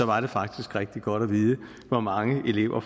var det faktisk rigtig godt at vide hvor mange elever